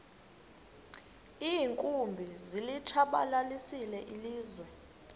iinkumbi zilitshabalalisile ilizwe